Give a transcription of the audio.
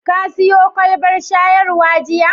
Ka siyo kwalbar shayarwa jiya?